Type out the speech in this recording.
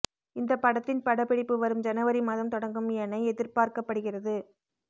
இந்த படத்தின் படப்பிடிப்பு வரும் ஜனவரி மாதம் தொடங்கும் என எதிர்பார்க்கப்படுகிறது